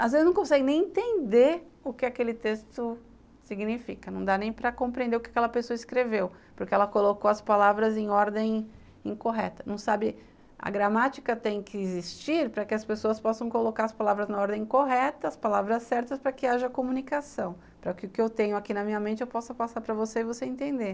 às vezes não consegue nem entender o que aquele texto significa, não dá nem para compreender o que aquela pessoa escreveu, porque ela colocou as palavras em ordem incorreta, não sabe... a gramática tem que existir para que as pessoas possam colocar as palavras na ordem correta, as palavras certas para que haja comunicação, para que o que eu tenho aqui na minha mente eu possa passar para você e você entender.